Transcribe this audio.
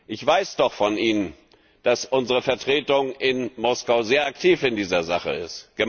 Ich weiß doch von Ihnen, dass unsere Vertretung in Moskau sehr aktiv in dieser Sache ist.